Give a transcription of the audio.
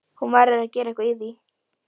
Við leituðum lengra inn í sjálf okkur.